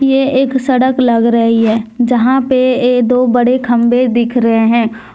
ये एक सड़क लग रही है जहां पे ये दो बड़े खंभे दिख रहे हैं।